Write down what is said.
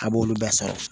A b'olu bɛɛ sara